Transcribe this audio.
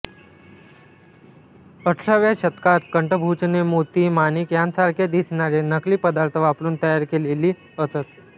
अठराव्या शतकात कंठभूषणे मोती माणिक यांच्यासारखे दिसणारे नकली पदार्थ वापरून तयार केलेली असत